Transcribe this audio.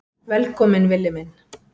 Velkominn Villi minn.